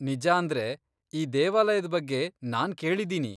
ನಿಜಾಂದ್ರೆ, ಈ ದೇವಾಲಯದ್ ಬಗ್ಗೆ ನಾನ್ ಕೇಳಿದೀನಿ.